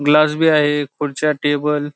glass बी आहे खुर्च्या टेबल --